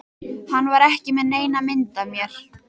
Hann var ekki með neina mynd af mér